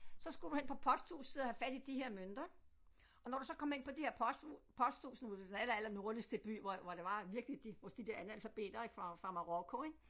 Så skulle du hen på posthuset og have fat i de her mønter og når du så kom ind på det her posthus posthus nu var det den aller aller nordligste by hvor hvor der var virkelig de også de der analfabeter fra Marokko ik